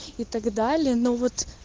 и так далее но вот